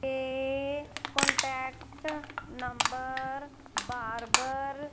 ये contact number बार बार--